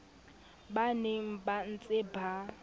ba neng ba ntse ba